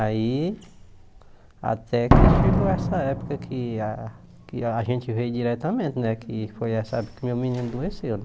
Aí até que chegou essa época que a a gente vê diretamente né, que foi essa época que meu menino adoeceu.